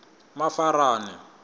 mafarani